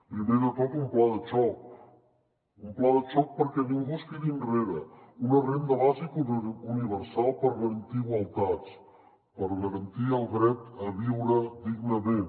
primer de tot un pla de xoc un pla de xoc perquè ningú es quedi enrere una renda bàsica universal per garantir igualtats per garantir el dret a viure dignament